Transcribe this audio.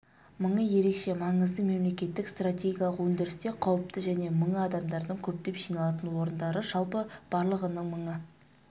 мыңы ерекше маңызды мемлекеттік стратегиялық өндірісте қауіпті және мыңы адамдардың көптеп жиналатын орындары жалпы барлығыныңмыңы